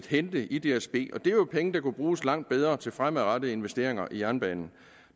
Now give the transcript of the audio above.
hente i dsb og det er jo penge der kunne bruges langt bedre til fremadrettede investeringer i jernbanen